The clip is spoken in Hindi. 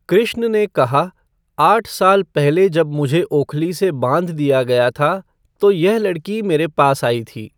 कृष्ण ने कहा आठ साल पहले जब मुझे ओखली से बांध दिया गया था तो यह लडकी मेरे पास आई थी।